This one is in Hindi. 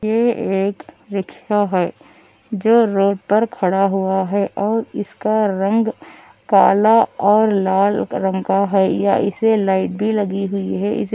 ये एक रिक्शा है जो रोड पर खड़ा हुआ है और इसका रंग काला और लाल रंग का है यह इस लाइट भी लगी हुई है इसीलिए